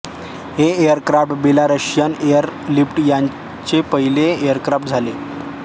हे aircraft Belarusian air fleet यांचे पहिले एयरक्राफ्ट झाले